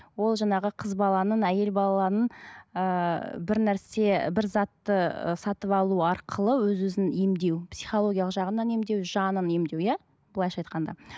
ол жаңағы қыз баланың әйел баланың ыыы бір нәрсе бір затты ы сатып алу арқылы өз өзін емдеу психологиялық жағынан емдеу жанын емдеу иә былайынша айтқанда